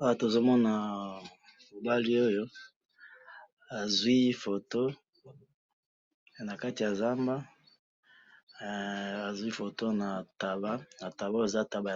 awa tozo mona mo bali oyo azwii photo nakati ya nzamba azwii photo na taba na taba oyo eza taba